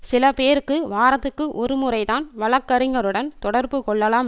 சில பேருக்கு வாரத்திற்கு ஒரு முறைதான் வழக்கறிஞர் உடன் தொடர்பு கொள்ளலாம்